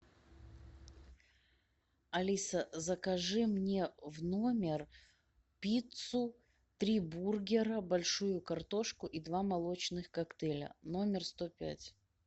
алиса закажи мне в номер пиццу три бургера большую картошку и два молочных коктейля номер сто пять